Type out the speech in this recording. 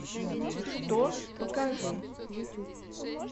что покажи